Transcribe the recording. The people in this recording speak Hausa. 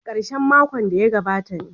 A karshen makon da ya gabata ne.